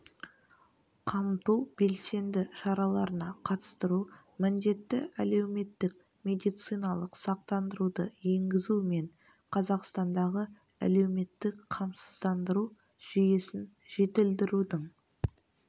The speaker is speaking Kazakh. қамту белсенді шараларына қатыстыру міндетті әлеуметтік медициналық сақтандыруды енгізу мен қазақстандағы әлеуметтік қамсыздандыру жүйесін жетілдірудің